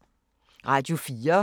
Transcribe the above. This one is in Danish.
Radio 4